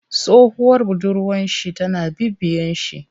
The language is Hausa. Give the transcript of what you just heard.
Tsohuwar budurwar shi tana bibiyen shi.